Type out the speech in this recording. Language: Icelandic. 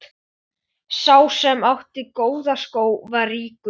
Sá sem átti góða skó var ríkur.